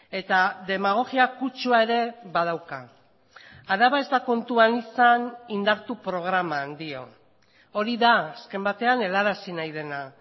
eta demagogia kutsua ere badauka araba ez da kontuan izan indartu programan dio hori da azken batean helarazi nahi dena